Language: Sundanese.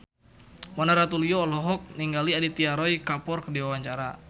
Mona Ratuliu olohok ningali Aditya Roy Kapoor keur diwawancara